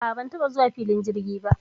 A a, ban taɓa zuwa filin jirgi ba.